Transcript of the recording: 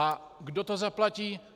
A kdo to zaplatí?